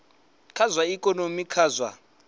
kha zwa ikonomi kha zwa